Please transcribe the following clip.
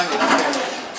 İspaniya, nə işdir?